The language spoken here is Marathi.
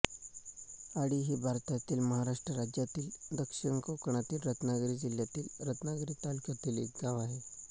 आडी हे भारतातील महाराष्ट्र राज्यातील दक्षिण कोकणातील रत्नागिरी जिल्ह्यातील रत्नागिरी तालुक्यातील एक गाव आहे